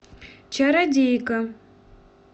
чародейка